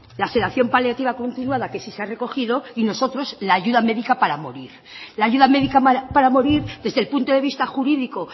la sedación paleativa continuada que sí se ha recogido y nosotros la ayuda médica para morir la ayuda médica para morir desde el punto de vista jurídico